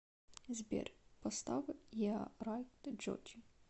сбер поставь еа райт джоджи